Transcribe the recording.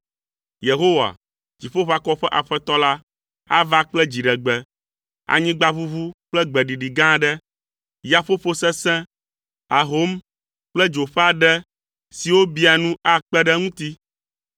Yehowa, Dziƒoʋakɔwo ƒe Aƒetɔ la, ava kple dziɖegbe, anyigbaʋuʋu kple gbeɖiɖi gã aɖe. Yaƒoƒo sesẽ, ahom kple dzo ƒe aɖe siwo biaa nu akpe ɖe eŋuti.